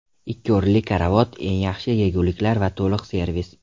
Ikki o‘rinli karavot, eng yaxshi yeguliklar va to‘liq servis.